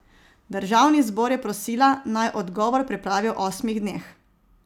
Državni zbor je prosila, naj odgovor pripravi v osmih dneh.